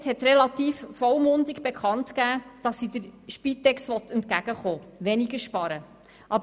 Die FiKo-Mehrheit hat relativ vollmundig bekannt gegeben, dass sie der Spitex entgegenkommen, also weniger sparen will.